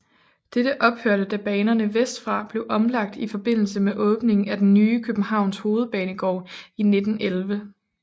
Det ophørte da banerne vestfra blev omlagt i forbindelse med åbningen af den nye Københavns Hovedbanegård i 1911